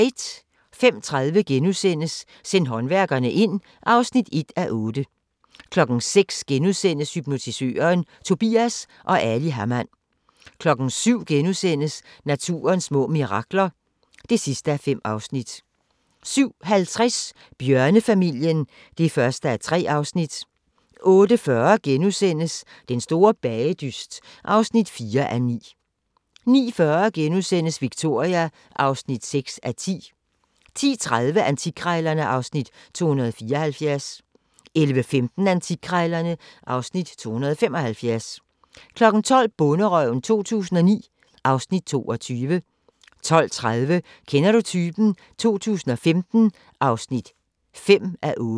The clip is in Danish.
05:30: Send håndværkerne ind (1:8)* 06:00: Hypnotisøren – Tobias & Ali Hamann * 07:00: Naturens små mirakler (5:5)* 07:50: Bjørnefamilien (1:3) 08:40: Den store bagedyst (4:9)* 09:40: Victoria (6:10)* 10:30: Antikkrejlerne (Afs. 274) 11:15: Antikkrejlerne (Afs. 275) 12:00: Bonderøven 2009 (Afs. 22) 12:30: Kender du typen? 2015 (5:8)